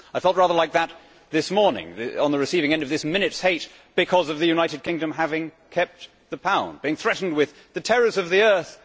I felt rather like that this morning, on the receiving end of this minute's hate because of the United Kingdom having kept the pound, being threatened with the terrors of the Earth.